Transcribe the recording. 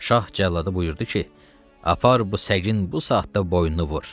Şah cəllada buyurdu ki, apar bu səgin bu saatda boynunu vur.